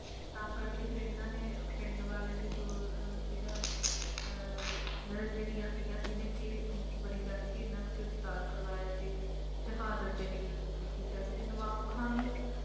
ਤਾਂ ਕਰਕੇ ਫਿਰ ਇਨ੍ਹਾਂ ਨੇ ਪਿੰਡ ਵਾਲੇ ਦੇ ਜੋ ਸੀਗਾ ਅਹ ਨਿਰੰਜਨੀਆ ਸੀਗਾ ਜਿਹਨੇ ਮੁਖਬਰੀ ਕਰਕੇ ਇਨ੍ਹਾਂ ਨੂੰ ਗਿਰਫ਼ਤਾਰ ਕਰਵਾਇਆ ਤੇ ਸ਼ਹਾਦਤ ਦੇ ਲਈ ਮਜ਼ਬੂਰ ਕੀਤਾ ਕਿਉਂਕਿ ਨਵਾਬ ਖਾਨ ਨੂੰ